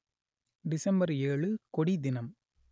December ஏழு கொடி தினம்